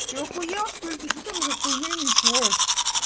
ты ахуел что ли ты что там за хуйню несёшь